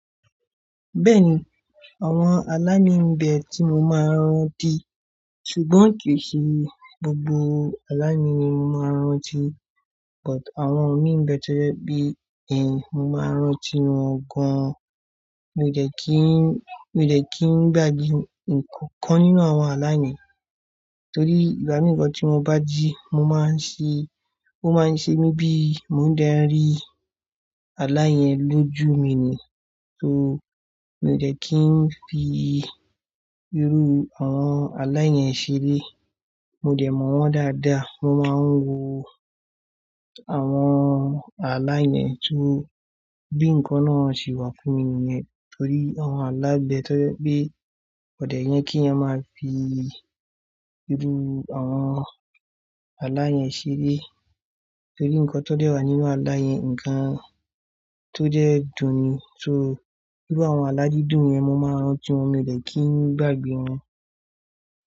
Bẹ́ẹ̀ni àwọn alá imi n bẹ̀ tí mo máa ń rántí, ṣùgbọ́n ki ṣe gbogbo alá ni mo máa ń rántí. But àwọn mí ń bẹ toje bí, ẹ, mo máa ń rántí wọn gan-an. Mi ò dẹ̀ kí ń, mi ò dẹ̀ kí ń gbàgbé nǹkankan nínú àwọn alá mi, torí ìgbámi gan tí mo bá jí mo máa ń ṣe, ó máa ń ṣe mí bí mo da rí alá yẹn lójú mi ni. So mi ò dẹ̀ kí ń fi irú àwọn alá yẹn ṣeré. Mo dẹ̀ mọ̀ wọ́n dáadáa, mo máa ń wo àwọn alá yẹn kí bí ǹkan náà ṣe wà fún mi nù ẹ torí àwọn alá n bẹ toje pé kò dẹ̀ yẹn keyan máa fi irú àwọn alá yẹn ṣeré torí ǹkan tó dẹ́ wà nínú alá yẹn, ǹkan tó jẹ́ dùn ni. So iru àwọn aládídùn yẹn mo máa ń rántí wọn, mi ò dẹ̀ kí ń gbàgbé wọn.